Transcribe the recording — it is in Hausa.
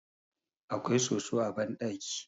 akwai soso a bandaki